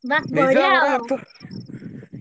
ବା! ବଢିଆ ।